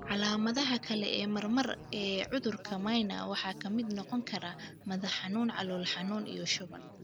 Calaamadaha kale ee marmar ee cudurka Mnire waxaa ka mid noqon kara madax-xanuun, calool xanuun, iyo shuban.